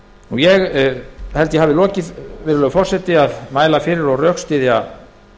ég held að ég hafi lokið virðulegi forseti við að mæla fyrir og rökstyðja